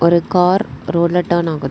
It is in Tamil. ஒரு கார் ரோட்ல டர்ன் ஆகுத்.